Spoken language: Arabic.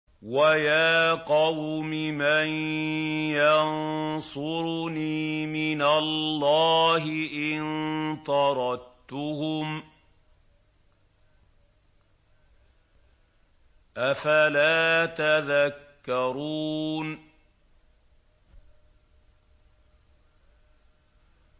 وَيَا قَوْمِ مَن يَنصُرُنِي مِنَ اللَّهِ إِن طَرَدتُّهُمْ ۚ أَفَلَا تَذَكَّرُونَ